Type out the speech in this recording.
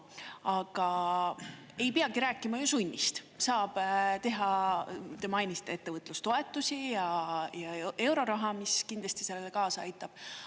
Aga ei peagi rääkima ju sunnist, saab teha, te mainisite, ettevõtlustoetusi ja euroraha, mis kindlasti sellele kaasa aitab.